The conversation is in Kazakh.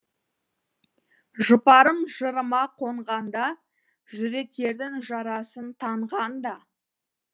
жұпарым жырыма қонғанда жүректердің жарасын таңғанда